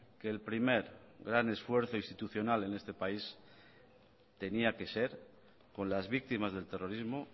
que el primer gran esfuerzo institucional en este país tenía que ser con las víctimas del terrorismo